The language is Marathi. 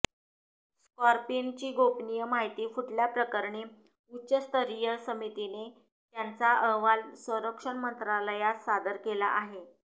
स्कॉर्पिनची गोपनीय माहिती फुटल्याप्रकरणी उच्चस्तरीय समितीने त्यांचा अहवाल संरक्षण मंत्रालयास सादर केला आहे